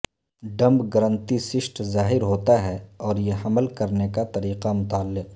ڈمبگرنتی cyst ظاہر ہوتا ہے اور یہ حمل کرنے کا طریقہ متعلق